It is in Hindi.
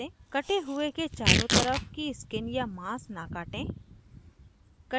cut हुए के चारों तरफ की skin या माँस न काटें